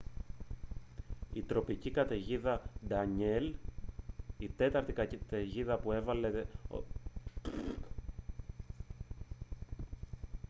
η τροπική καταιγίδα ντανιέλ η τέταρτη καταιγίδα που έλαβε ονομασία κατά την εποχή των τυφώνων του ατλαντικού του 2010 σχηματίστηκε στον ανατολικό ατλαντικό ωκεανό